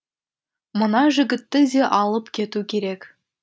мына жігітті де алып кету керек